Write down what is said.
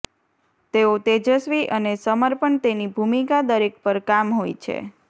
તેઓ તેજસ્વી અને સમર્પણ તેની ભૂમિકા દરેક પર કામ હોય છે